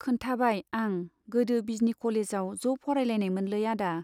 खोन्थाबाय आं गोदो बिजनी कलेजआव ज' फरायलायनायमोनलै आदा।